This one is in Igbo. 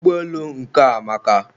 ụgbọelu nke a amaka